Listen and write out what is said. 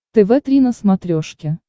тв три на смотрешке